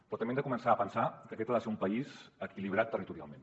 però també hem de començar a pensar que aquest ha de ser un país equilibrat territorialment